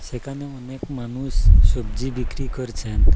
সেখানে অনেক মানুষ সবজি বিক্রি করছেন।